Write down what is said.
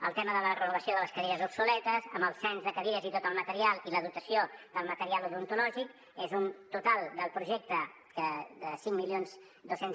el tema de la renovació de les cadires obsoletes amb el cens de cadires i tot el material i la dotació del material odontològic és un total del projecte de cinc mil dos cents